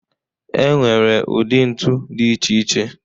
E nwere ụdị ntu dị iche iche.